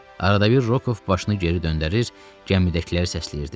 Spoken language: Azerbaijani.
Arada bir Rokov başını geri döndərir, gəmidəkiləri səsləyirdi.